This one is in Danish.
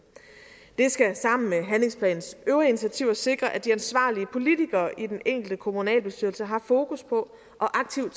det skal sammen med handlingsplanens øvrige initiativer sikre at de ansvarlige politikere i den enkelte kommunalbestyrelse har fokus på og aktivt